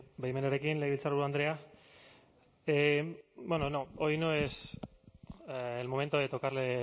baimenarekin legebiltzarburu andrea bueno no hoy no es el momento de tocarle